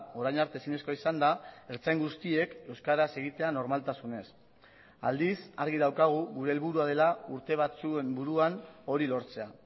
orain arte ezinezkoa izan da ertzain guztiek euskaraz egitea normaltasunez aldiz argi daukagu gure helburua dela urte batzuen buruan hori lortzea